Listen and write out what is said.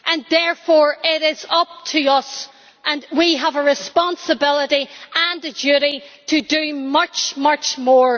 Therefore, it is up to us, and we have a responsibility and a duty to do much, much more.